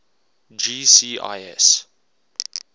gcis